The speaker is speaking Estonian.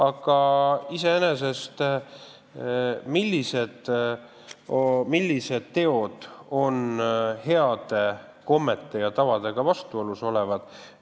Aga millised teod on heade kommete ja tavadega vastuolus?